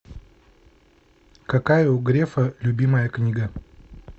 какая у грефа любимая книга